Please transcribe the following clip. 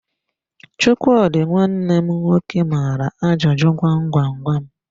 Chukwudi nwanne m nwoke maara ajụ gwam gwam gwam